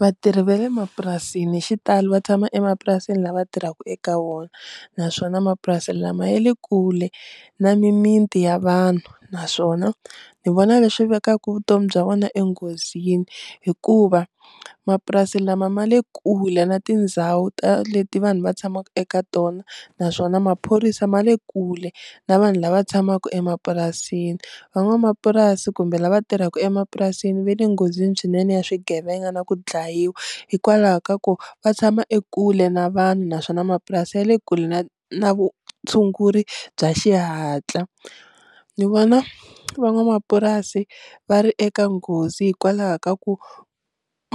Vatirhi va le mapurasini hi xitalo va tshama emapurasini la va tirhaka eka wona naswona mapurasini lama ya le kule na mimiti ya vanhu naswona ni vona leswi vekaku vutomi bya vona enghozini hikuva mapurasi lama ma le kule na tindhawu ta leti vanhu va tshamaka eka tona naswona maphorisa ma le kule na vanhu lava tshamaka emapurasini, van'wamapurasi kumbe lava tirhaka emapurasini va le nghozini swinene ya swigevenga na ku dlayiwa hikwalaho ka ku va tshama ekule na vanhu naswona mapurasi ya le kule na na vutshunguri bya xihatla, ni vona van'wamapurasi va ri eka nghozi hikwalaho ka ku